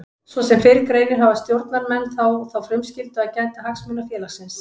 Svo sem fyrr greinir hafa stjórnarmenn þó þá frumskyldu að gæta hagsmuna félagsins.